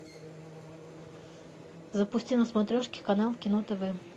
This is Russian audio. запусти на смотрешке канал кино тв